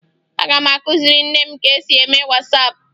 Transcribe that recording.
Aga m akụziri nne m ka e si eme Wasaapụ